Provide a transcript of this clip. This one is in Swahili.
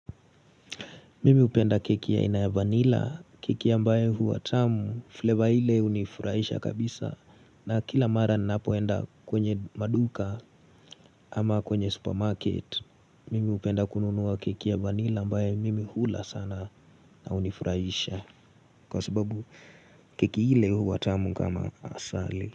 Mimi hupenda keki ya ina ya vanilla, keki ambaye huwa tamu, flavor ile hunifurahisha kabisa. Na kila mara ninapoenda kwenye maduka ama kwenye supermarket, mimi hupenda kununua keki ya vanila ambaye mimi hula sana na hunifurahisha. Kwa sababu keki ile huwa tamu kama asali.